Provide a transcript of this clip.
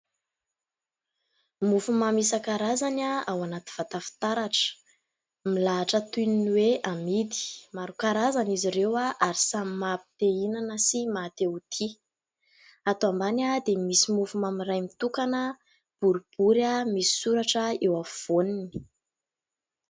mofy mamy isakarazany ah ao anaty vatafitaratra milahitra toy ny hoe amidy maro karazany izy ireo ahoy ary samy mahampitehinana sy matehotia atao ambany ahy dia misy mofy mamin'iray mitokana boro-bory ah misy soratra eo afovoaniny